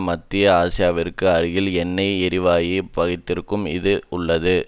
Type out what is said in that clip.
மத்திய ஆசியாவிற்கு அருகிள் எண்ணெய் எரிவாயுப் பகுதிக்கருகிலும் இது உள்ளது